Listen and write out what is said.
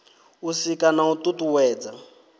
u sika na u tutuwedza